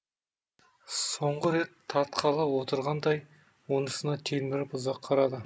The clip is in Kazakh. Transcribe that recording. соңғы рет тартқалы отырғандай онысына телміріп ұзақ қарады